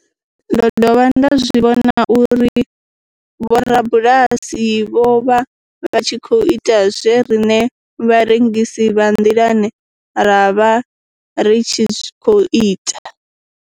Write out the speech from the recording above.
Ndo dovha nda zwi vhona uri vhorabulasi vho vha vha tshi khou ita zwe riṋe vharengisi vha nḓilani ra vha ri tshi khou ita.